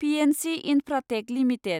PNC Infratech limited